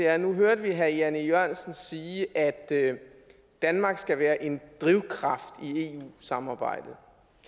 er at nu hørte vi herre jan e jørgensen sige at danmark skal være en drivkraft i eu samarbejdet